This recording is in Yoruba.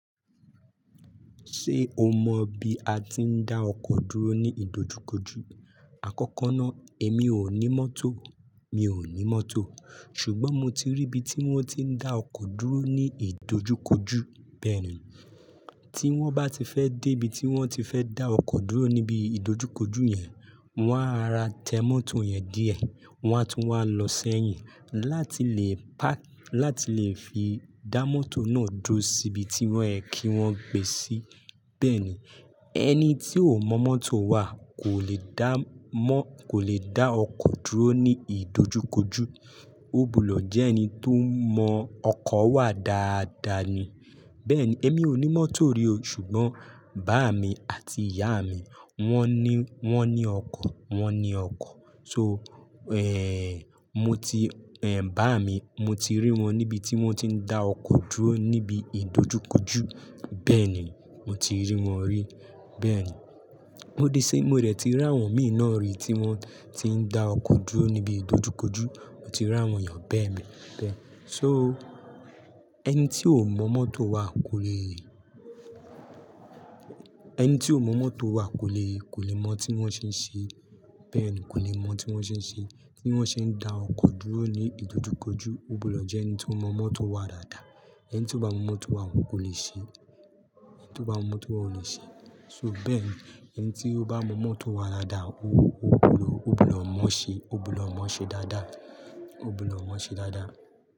Ṣé o mọ bi a ti ń dá ọkọ̀ dúró ní ìdojúkojú? Àkọ́kọ́ ná, èmi ò ní mọ́tò. Mi ò ní mọ́tò. Ṣùgbọ́n mo ti rí ibi tí wón ti ń dá ọkọ̀ dúró ní ìdojúkojú. Bẹ́ẹ̀ni, tí wọ́n bá ti fẹ́ dé ibi tí wọ́n ti fẹ́ dá ọkọ̀ dúró níbi ìdojúkojú yẹn, wọ́n á ra tẹ mọ́tò yẹn díẹ̀. Wọ́n á tún wá lọ sẹ́yìn láti lè pá-- láti lè fi dá mọ́tò náà dúró sí ibi tí wọ́n ẹ kí wọ́n gbé sí. Bẹ́ẹ̀ni, ẹni tí ò mọ mọ́tò wà kò lè dá mọ́-- kò lè dá ọkọ̀ dúró ní ìdojúkojú. Ó búúlọ̀ jẹ́ ẹni tó mọ ọkọ̀ wà dáadáa ni. Bẹ́ẹ̀ni, èmi ò ní mọ́tò rí o, ṣùgbọ́n bàá mi àti ìyá mi wọ́n ní, wọ́n ní ọkọ̀, wọ́n ní ọkọ̀. So, ẹ́hń, mo ti, ẹ́ń, bàá mi, mo ti rí wọn níbi tí wọ́n ti ń dá ọkọ̀ dúró níbi ìdojúkojú. Bẹ́ẹ̀ni, mo ti rí wọn rí. Bẹ́ẹ̀ni, ó di se mo dẹ̀ ti rí àwọn mìn na rí tí wọ́n ti ń dá ọkọ̀ dúró níbi ìdojúkojú. Mo ti rí àwọn èèyàn bẹ́ẹ̀ ni. Bẹ́ẹ̀. So, ẹni tí ò mọ mọ́tò wà kò lè, ẹni tí ò mọ mọ́tò wà kò lè, kò lè mọ tí wọ́n ṣe ń ṣe. Bẹ́ẹ̀ ni, kò lè mọ tí wọ́n ṣe ń ṣe tí wọ́n ṣe ń dá ọkọ̀ dúró ní ìdojúkojú. Ógbudọ jẹ́ ẹni tó mọ mọ́tò wà dáadáa. Ẹni tí ò bá mọ mọ́tò wà ò lè ṣe ẹ́. Ẹni tí ò bá mọ mọ́tò wà ò lè ṣe é. So, bẹ́ẹ̀ ni, ẹni tí ó bá mọ mọ́tò wà dáadáa, ógbudọ ógbudọ mọ́ọ ṣe, ógbudọ mọ́ọ ṣe dáadáa. Ó búúlọ̀ mọ́ọ ṣe dáadáa.